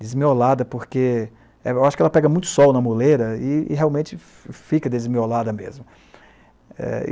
Desmiolada porque eu acho que ela pega muito sol na muleira e realmente fica desmiolada mesmo.